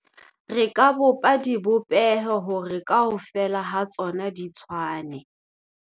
re ka bopa dibopeho hore kaofela ha tsona di tshwane